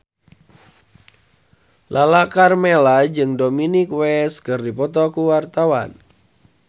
Lala Karmela jeung Dominic West keur dipoto ku wartawan